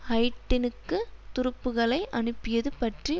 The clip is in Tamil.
ஹைட்டினுக்கு துருப்புக்களை அனுப்பியது பற்றி